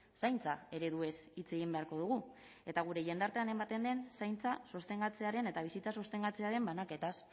zaintza ereduez hitz egin beharko dugu eta gure jendartean ematen den zaintza sostengatzearen eta bizitza sostengatzearen banaketaz